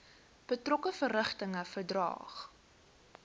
betrokke verrigtinge verdaag